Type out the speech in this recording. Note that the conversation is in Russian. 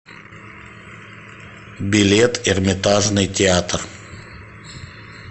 билет эрмитажный театр